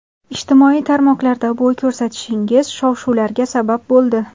Ijtimoiy tarmoqlarda bo‘y ko‘rsatishingiz shov-shuvlarga sabab bo‘ldi.